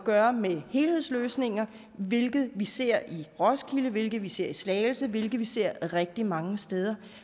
gøre med helhedsløsninger hvilket vi ser i roskilde hvilket vi ser i slagelse hvilket vi ser rigtig mange steder